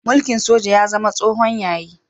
Mulkin soja ya zama tsohon yayi.